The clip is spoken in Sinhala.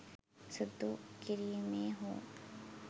සුදු කිරීමේ හෝ